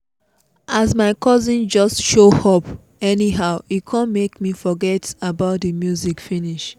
as my cousin just show up anyhow e kon make me forget about the the music finish.